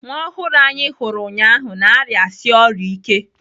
Nwa ọhụrụ ahụ anyị hụrụ ụnyaahụ na-arịasi ọrịa ike.